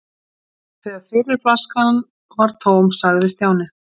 Þegar fyrri flaskan var tóm sagði Stjáni